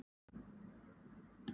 Hún kvaðst geta það.